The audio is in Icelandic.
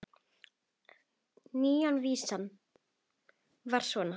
Nýja vísan var svona